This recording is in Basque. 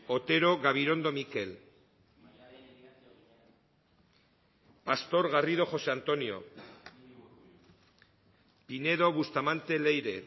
otero gabirondo mikel pastor garrido josé antonio pinedo bustamante leire